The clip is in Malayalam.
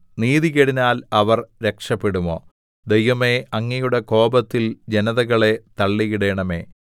നീതികേടിനാൽ അവർ രക്ഷപെടുമോ ദൈവമേ അങ്ങയുടെ കോപത്തിൽ ജനതകളെ തള്ളിയിടണമേ